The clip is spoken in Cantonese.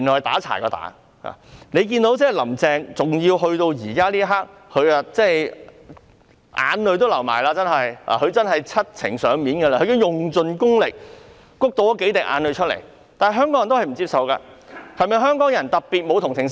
大家看到林鄭月娥直到此刻才流淚，她真的是七情上面，用盡功力"谷"出數滴眼淚，但香港人仍不接受，香港人是否特別沒有同情心？